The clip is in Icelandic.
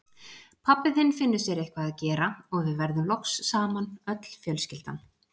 Pabbi þinn finnur sér eitthvað að gera, og við verðum loks saman, öll fjölskyldan.